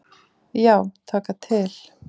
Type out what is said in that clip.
Já, taka til.